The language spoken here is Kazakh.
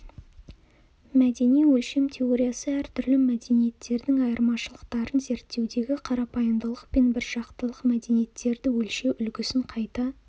мәдени өлшем теориясы әртүрлі мәдениеттердің айырмашылықтарын зерттеудегі қарапайымдылық пен біржақтылық мәдениеттерді өлшеу үлгісін қайта